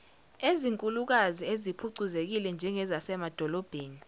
ezinkulukazi eziphucuzekile njengezasemadolobheni